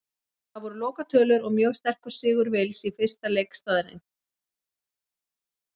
Það voru lokatölur og mjög sterkur sigur Wales í fyrsta leik staðreynd.